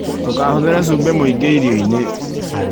Ndũkahũthĩre cubĩ mwĩingĩ irioinĩ